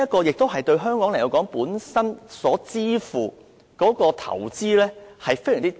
因此，對香港而言，我們本身付出的投資非常低。